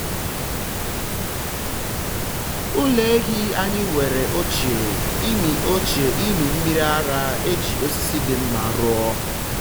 ụlọ ehi anyị nwere oche ịmị oche ịmị mmiri ara e ji osisi dị mma rụọ.